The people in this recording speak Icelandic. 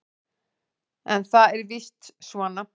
En það er víst svo.